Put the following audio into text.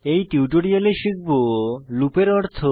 এই টিউটোরিয়ালে শিখব লুপ এর অর্থ